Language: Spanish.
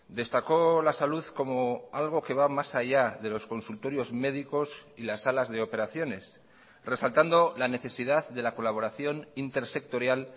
destacó la salud como algo que va más allá de los consultorios médicos y las salas de operaciones resaltando la necesidad de la colaboración intersectorial